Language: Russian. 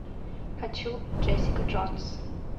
хочу джессика джонс